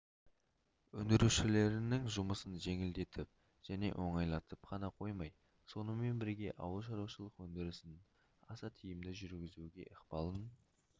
өндірушілерінің жұмысын жеңілдетіп және оңайлатып қана қоймай сонымен бірге ауылшаруашылық өндірісін аса тиімді жүргізуге ықпалын